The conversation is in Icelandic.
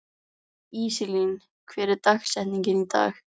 Íselín, hver er dagsetningin í dag?